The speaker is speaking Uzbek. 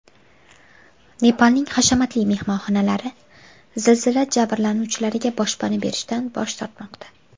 Nepalning hashamatli mehmonxonalari zilzila jabrlanuvchilariga boshpana berishdan bosh tortmoqda.